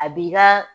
A b'i ka